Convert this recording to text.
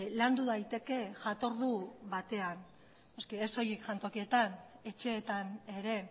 landu daiteke jatordu batean noski ez soilik jantokietan etxeetan ere